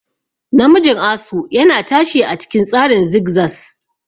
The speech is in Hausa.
Namijin asu yana tashi a cikin tsarin zigzaz.